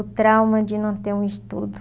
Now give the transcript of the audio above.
O trauma de não ter um estudo.